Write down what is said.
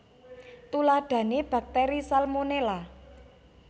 Tuladhané baktéri salmonela